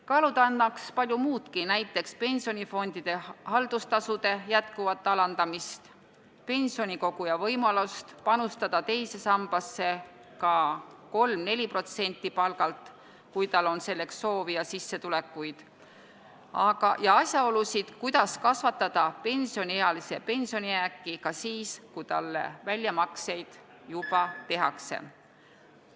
Kaaluda annaks palju muudki, näiteks pensionifondide haldustasude jätkuvat alandamist, pensionikoguja võimalust panustada teise sambasse ka 3–4% palgalt, kui tal on selleks soovi ja sissetulekuid, ka võiks arutada, kuidas kasvatada pensioniealise pensionijääke ka siis, kui talle väljamakseid juba tehakse.